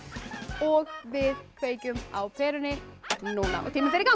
og við kveikjum á perunni núna og tíminn fer í gang